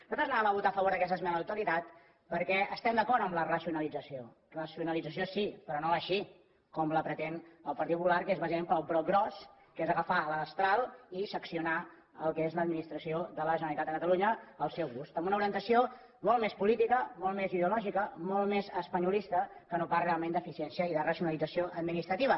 nosaltres anàvem a votar a favor d’aquesta esmena a la totalitat perquè estem d’acord amb la racionalització racionalització sí però no així com la pretén el partit popular que és bàsicament pel broc gros que és agafar la destral i seccionar el que és l’administració de la generalitat de catalunya al seu gust amb una orientació molt més política molt més ideològica molt més espanyolista que no pas realment d’eficiència i de racionalització administrativa